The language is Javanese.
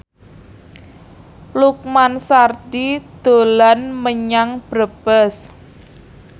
Lukman Sardi dolan menyang Brebes